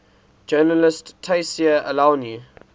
journalist tayseer allouni